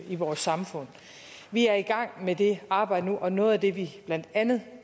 i vores samfund vi er i gang med det arbejde nu og noget af det vi blandt andet